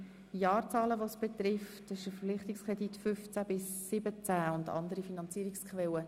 Beim Traktandum 59 betrifft es eine andere zeitliche Periode.